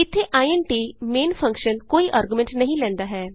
ਇਥੇ int main function ਕੋਈ argument ਨਹੀਂ ਲੈਂਦਾ ਹੈ